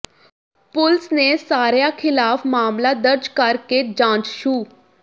ਪੁਲਸ ਨੇ ਸਾਰਿਆਂ ਖਿਲਾਫ ਮਾਮਲਾ ਦਰਜ ਕਰਕੇ ਜਾਂਚ ਸ਼ੁ